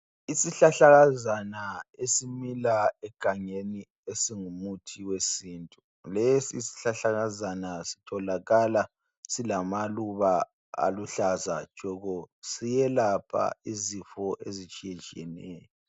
Isihlahlakazana esimila egangeni esingumuthi wesintu lesi sihlahlakazana sitholakala silamaluba aluhlaza tshoko siyelapha izifo ezitshiyetshiyeneyo.